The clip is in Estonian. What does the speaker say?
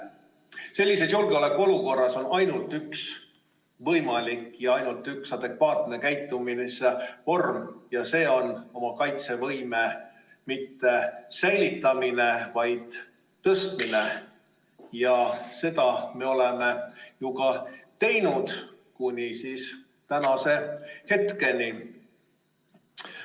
Sellises julgeolekuolukorras on ainult üks võimalik adekvaatne käitumisvorm ja see pole oma kaitsevõime säilitamine, vaid tõstmine ja seda me oleme ju ka teinud kuni praeguse hetkeni.